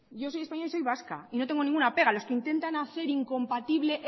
yo soy española y soy vasca y no tengo ninguna pega los que intentan hacer incompatible